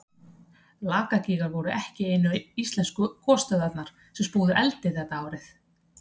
Lakagígar voru ekki einu íslensku gosstöðvarnar sem spúðu eldi þetta árið.